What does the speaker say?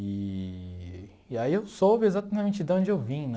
Eee e aí eu soube exatamente de onde eu vim, né?